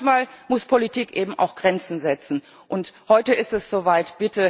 Manchmal muss Politik eben auch Grenzen setzen, und heute ist es soweit.